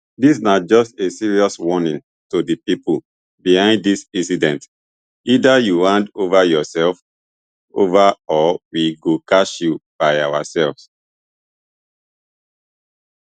dis na just a serious warning to di pipo behind dis incident either you hand yoursefs ova or we go catch you by oursefs